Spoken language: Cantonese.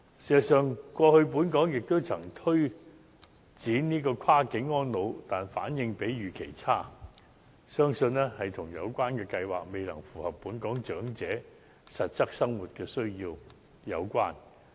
事實上，過去本港也曾推動跨境安老，但反應比預期差，相信跟有關計劃未能符合本港長者實質生活需要有關。